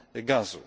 gazu.